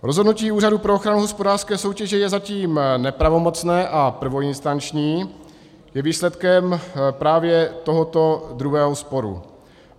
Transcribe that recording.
Rozhodnutí Úřadu pro ochranu hospodářské soutěže je zatím nepravomocné a prvoinstanční, je výsledkem právě tohoto druhého sporu.